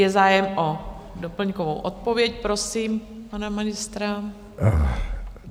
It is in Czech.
Je zájem o doplňkovou odpověď, prosím pana ministra.